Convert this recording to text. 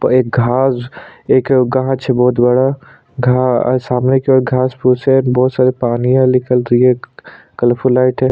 एक घास एक गाछ है बहोत बड़ा घा सामने की ओर घास फूस है बहोत सारी पानी है निकल रही है कलरफुल लाइट है ।